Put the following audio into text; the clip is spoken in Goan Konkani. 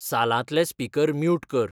सालांतले स्पीकर म्युट कर